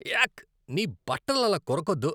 యాక్, నీ బట్టలు అలా కొరకొద్దు.